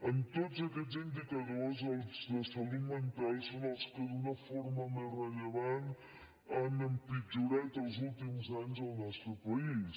en tots aquests indicadors els de salut mental són els que d’una forma més rellevant han empitjorat els últims anys al nostre país